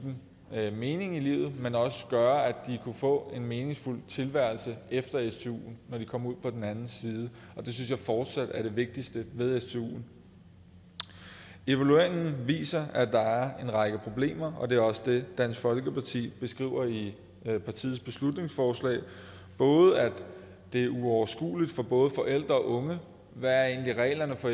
unge mening i livet men også gøre at kunne få en meningsfuld tilværelse efter stuen når de kom ud på den anden side og det synes jeg fortsat er det vigtigste ved stuen evalueringen viser at der er en række problemer og det er også det dansk folkeparti beskriver i partiets beslutningsforslag både at det er uoverskueligt for både forældre og unge hvad reglerne for